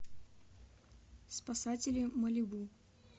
спасатели малибу